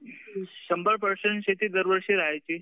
शंभर पर्सेंट शेती दरवर्षी राहायची